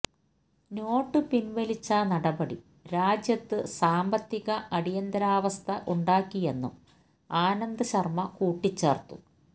not പിൻവലിച്ച നടപടി രാജ്യത്ത് സാമ്പത്തിക അടിയന്തരാവസ്ഥ ഉണ്ടാക്കിയെന്നും ആനന്ദ് ശർമ കൂട്ടിച്ചേർത്തു